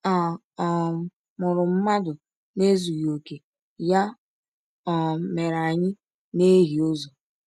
A um mụrụ mmadụ n’ezughị okè, ya um mere anyị na-ehie ụzọ.